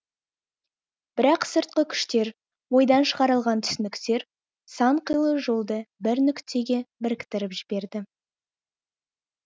бірақ сыртқы күштер ойдан шығарылған түсініктер сан қилы жолды бір нүктеге біріктіріп жіберді